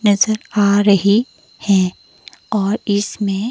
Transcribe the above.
नजर आ रही हैं और इसमें --